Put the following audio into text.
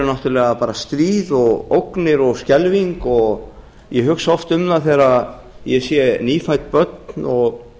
náttúrlega bara stríð og ógnir og skelfing og ég hugsa oft um það þegar ég sé nýfædd börn